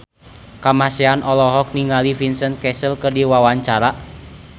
Kamasean olohok ningali Vincent Cassel keur diwawancara